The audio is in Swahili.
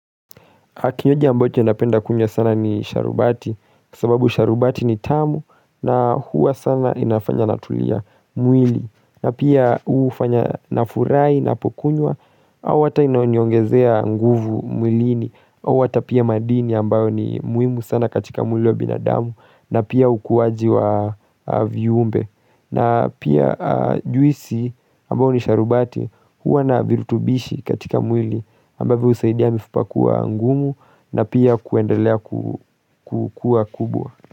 Kinywaji ambacho napenda kunya sana ni sharubati, sababu sharubati ni tamu na huwa sana inafanya natulia mwili. Na pia huu fanya na furai na pokunywa, au wata inaonyongezea nguvu mwilini, au wata pia madini ambayo ni muimu sana katika mwili wa binadamu na pia ukuwaji wa viumbe. Na pia juisi ambao ni sharubati huwa na virutubishi katika mwili ambave usaidia mifupakua ngumu na pia kuendelea kukua kubwa.